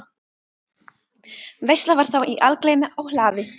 Veisla var þá í algleymi á hlaði.